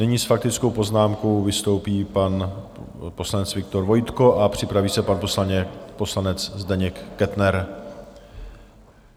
Nyní s faktickou poznámkou vystoupí pan poslanec Viktor Vojtko a připraví se pan poslanec Zdeněk Kettner.